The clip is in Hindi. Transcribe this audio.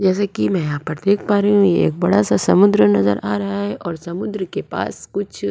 जैसे कि मैं यहां पर देख पा रही हूं ये एक बड़ा सा समुद्र नजर आ रहा है और समुद्र के पास कुछ --